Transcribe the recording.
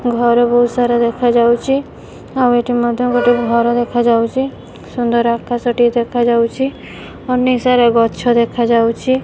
ଘର ବହୁତ ସାର ଦେଖାଯାଉଛି ଆଉ ଏଠି ମଧ୍ଯ ଗୋଟିଏ ଘର ଦେଖାଯାଉଛି ସୁନ୍ଦର ଆକାଶଟିଏ ଦେଖାଯାଉଛି ଅନେକ ସାର ଗଛ ଦେଖାଯାଉଛି।